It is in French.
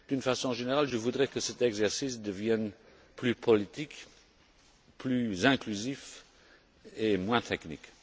D'une façon générale, je voudrais que cet exercice devienne plus politique, plus inclusif et moins technique.